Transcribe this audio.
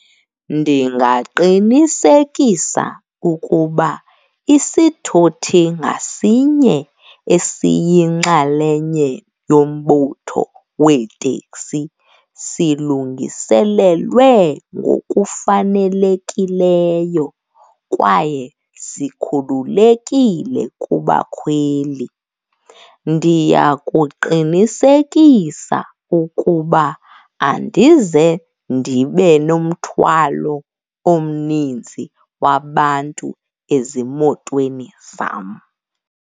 Ndingaqinisekisa ukuba isithuthi ngasinye esiyinxalenye yombutho weeteksi silungisilelwe ngokufanelekileyo kwaye sikhululekile kubakhweli. Ndiya kuqinisekisa ukuba andize ndibe nomthwalo omninzi wabantu ezimotweni zam.